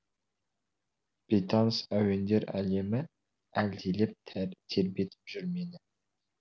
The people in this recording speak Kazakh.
бейтаныс әуендер әлемі әлдилеп тербетіп жүр мені